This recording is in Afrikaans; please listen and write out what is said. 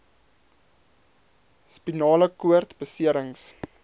spinale koord beserings